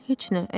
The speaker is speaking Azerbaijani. Heç nə.